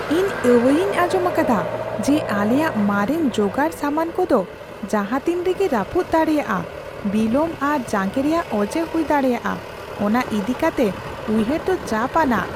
ᱤᱧ ᱟᱹᱣᱟᱹᱭᱤᱧ ᱟᱸᱡᱚᱢ ᱟᱠᱟᱫᱟ ᱡᱮ ᱟᱞᱮᱭᱟᱜ ᱢᱟᱨᱮᱱ ᱡᱚᱜᱟᱲ ᱥᱟᱢᱟᱱ ᱠᱚᱫᱚ ᱡᱟᱦᱟᱸ ᱛᱤᱱ ᱨᱮᱜᱮ ᱨᱟᱹᱯᱩᱫ ᱫᱟᱲᱮᱭᱟᱜᱼᱟ ᱾ ᱵᱤᱞᱚᱢ ᱟᱨ ᱡᱟᱸᱜᱮ ᱨᱮᱭᱟᱜ ᱚᱡᱮ ᱦᱩᱭ ᱫᱟᱲᱮᱭᱟᱜᱼᱟ ᱚᱱᱟ ᱤᱫᱤ ᱠᱟᱛᱮ ᱩᱭᱦᱟᱹᱨ ᱫᱚ ᱪᱟᱯ ᱟᱱᱟᱜ ᱾